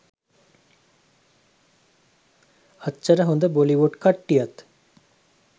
අච්චර හොඳ බොලිවුඩ් කට්ටියත්